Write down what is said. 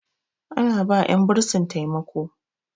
ana ba 'yan bursin taimako